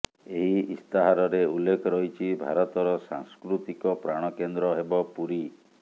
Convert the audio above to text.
ଏହି ଇସ୍ତାହାରରେ ଉଲ୍ଲେଖ ରହିଛି ଭାରତର ସାଂସ୍କୃତିକ ପ୍ରାଣକେନ୍ଦ୍ର ହେବ ପୁରୀ